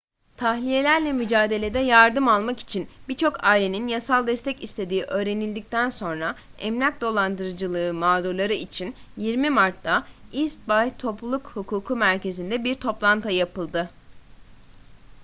tahliyelerle mücadelede yardım almak için birçok ailenin yasal destek istediği öğrenildikten sonra emlak dolandırıcılığı mağdurları için 20 mart'ta east bay topluluk hukuku merkezinde bir toplantı yapıldı